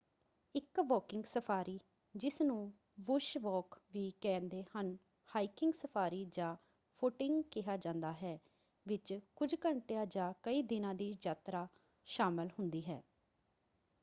ਇੱਕ walking safari ਜਿਸਨੂੰ bush walk ਵੀ ਕਹਿੰਦੇ ਹਨ ਹਾਈਕਿੰਗ ਸਫਾਰੀ ਜਾਂ ਫੁੱਟਿੰਗ ਕਿਹਾ ਜਾਂਦਾ ਹੈ ਵਿੱਚ ਕੁੱਝ ਘੰਟਿਆਂ ਜਾਂ ਕਈ ਦਿਨਾਂ ਦੀ ਯਾਤਰਾ ਸ਼ਾਮਲ ਹੁੰਦੀ ਹੈ।